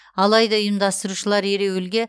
алайда ұйымдастырушылар ереуілге